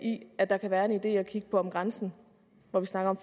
i at der kan være en idé i at kigge på om grænsen hvor vi snakker om